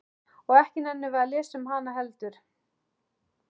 Og ekki nennum við að lesa um hana heldur?